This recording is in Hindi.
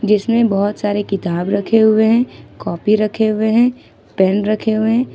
जिसमें बहुत सारे किताब रखे हुए हैं कॉपी रखे हुए हैं पेन रखे हुए हैं।